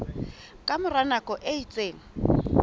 ka mora nako e itseng